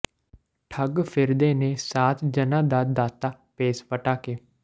ਠੱਗ ਫਿਰਦੇ ਨੇ ਸਾਧ ਜਨਾਂ ਦਾ ਦਾਤਾ ਭੇਸ ਵਟਾਕੇ